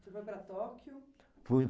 Você foi para Tóquio? Fui